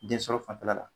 Densɔrɔ fanfɛla la